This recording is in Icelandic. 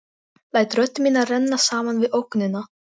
Læt rödd mína renna saman við ógnina.